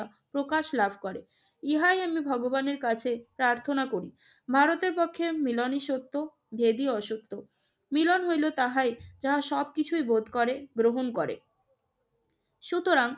প্রকাশ লাভ করে, ইহাই ইহাই আমি ভগবানের কাছে প্রার্থনা করি। ভারতের পক্ষে মিলনই সত্য দেবী অসত্য। মিলন হইল তাহাই যাহা সবকিছুই বোধ করে, গ্রহণ করে। সুতরাং